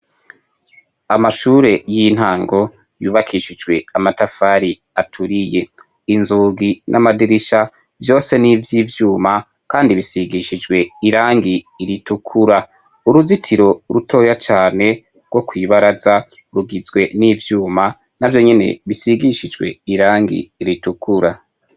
Amashure y'intango yubakishijwe amatafari aturiye inzogi n'amadirisha vyose n'ivyo ivyuma, kandi bisigishijwe irangi iritukura uruzitiro rutoya cane rwo kwibaraza urugizwe n'ivyuma na vyo nyene bisigishijwea yangi iritukura.